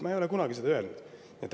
Ma ei ole seda kunagi öelnud!